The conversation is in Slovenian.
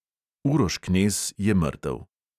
Uroš knez je mrtev ...